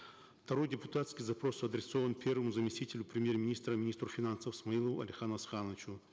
второй депутатский запрос адресован первому заместителю премьер министра министру финансов смаилову алихану асхановичу